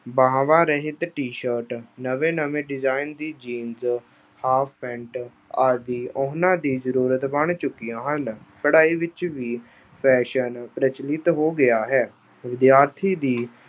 ਬਾਹਵਾਂ-ਰਹਿਤ t-shirt ਨਵੇਂ-ਨਵੇਂ design ਦੀ jeans, half pant ਆਦਿ ਉਨ੍ਹਾਂ ਦੀ ਜ਼ਰੂਰਤ ਬਣ ਚੁੱਕੀਆਂ ਹਨ। ਪੜ੍ਹਾਈ ਵਿੱਚ ਵੀ fashion ਪ੍ਰਚਲਿਤ ਹੋ ਗਿਆ ਹੈ। ਵਿਦਿਆਰਥੀ ਦੀ